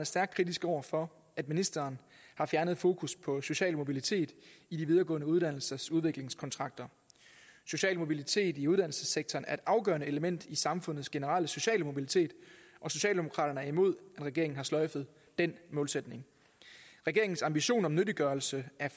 stærkt kritiske over for at ministeren har fjernet fokus på social mobilitet i de videregående uddannelsers udviklingskontrakter social mobilitet i uddannelsessektoren er et afgørende element i samfundets generelle sociale mobilitet og socialdemokraterne er imod at regeringen har sløjfet den målsætning regeringens ambition om nyttiggørelse af